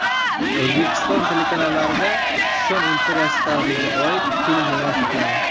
O‘zbekiston telekanallarida Kushon imperiyasi tarixiga oid film namoyish etiladi.